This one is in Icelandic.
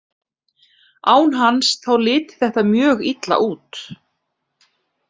Án hans, þá liti þetta mjög illa út.